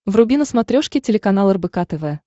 вруби на смотрешке телеканал рбк тв